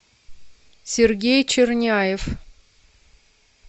сергей черняев